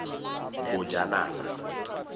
bojanala